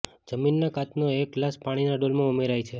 જમીનના કાચનો એક ગ્લાસ પાણીના ડોલમાં ઉમેરાય છે